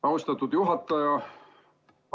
Austatud juhataja!